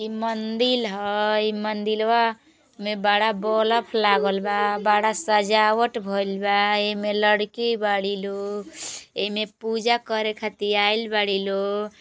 इ मंदिल ह इ मंदीलवा में बड़ा बलफ लागल बा बड़ा सजावट भईल बा। एमे लड़की बड़ी लोग एमे पूजा करे खातिर आइल बड़ी लोग।